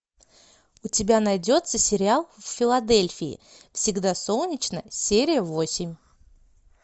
у тебя найдется сериал в филадельфии всегда солнечно серия восемь